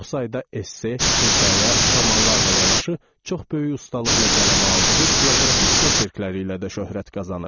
Çox sayda esse, hekayə, romanlarla yanaşı çox böyük ustalıqla qələmə aldığı bioqrafik oçerkləri ilə də şöhrət qazanıb.